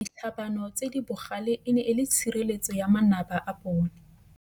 Ditlhabanô tse di bogale e ne e le tshirêlêtsô ya manaba a bone.